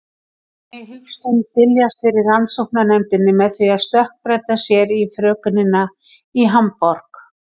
Þannig hyggst hún dyljast fyrir rannsóknarnefndinni með því að stökkbreyta sér í frökenina í Hamborg.